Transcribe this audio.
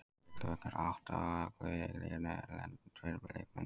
Athygli vekur að átta af ellefu í EKKI liðinu eru erlendir leikmenn.